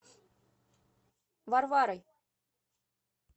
варварой